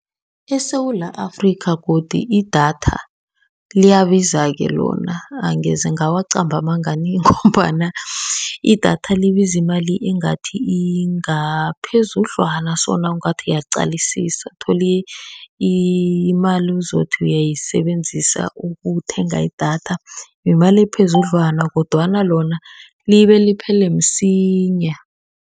ESewula Afrika godu idatha liyabizake lona. Angeze ngawacamba amanga nie, ngombana idatha libiza imali engathi ingaphezudlwana so nawungathi uyaqalisisa. Uthole imali ozothi uyisebenzisa ukuthenga idatha, yimali ephezudlwana. Kodwana lona libe liphele msinya.